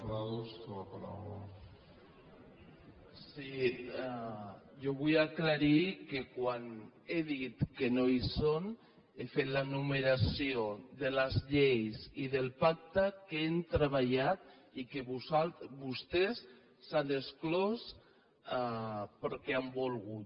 jo vull aclarir que quan he dit que no hi són he fet l’enumeració de les lleis i dels pactes que hem treballat i que vostès se n’han exclòs perquè han volgut